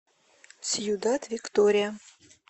сьюдад виктория